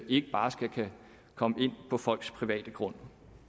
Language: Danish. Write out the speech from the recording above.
ikke bare skal kunne komme ind på folks private grund